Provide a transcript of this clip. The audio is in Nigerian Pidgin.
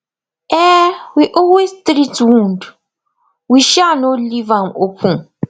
um we always treat wound we um no leave am open